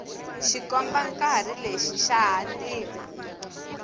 xikombankarhi lexi xa hatima